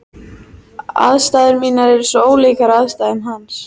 Aðstæður mínar eru svo ólíkar aðstæðum hans.